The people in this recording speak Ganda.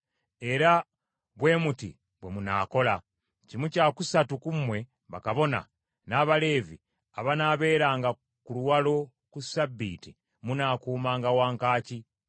Era bwe muti bwe munaakola: kimu kya kusatu ku mmwe bakabona n’Abaleevi abanaaberanga ku luwalo ku ssabbiiti munaakuumanga wankaaki,